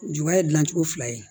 Juba ye gilan cogo fila ye